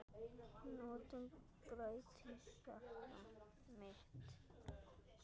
Nóttin bræddi hjarta mitt.